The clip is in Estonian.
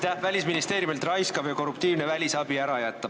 Tahame Välisministeeriumi raiskava ja korruptiivse välisabi ära jätta.